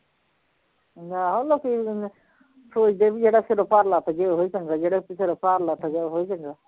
ਆਹੋ ਲੋਕੀ ਅ ਸੋਚਦੇ ਵੀ ਜਿਹੜਾ ਸਿਰੋਂ ਭਰ ਲੱਥ ਜੇ ਉਹੀ ਚੰਗਾ, ਜਿਹੜਾ ਕਿਸੇ ਤੋਂ ਭਾਰ ਲੱਥ ਜੇ ਉਹੀ ਚੰਗਾ